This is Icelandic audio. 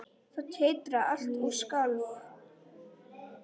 Það titraði allt og skalf.